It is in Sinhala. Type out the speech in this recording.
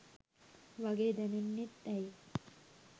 වගේ දැනෙන්නෙත් ඇයි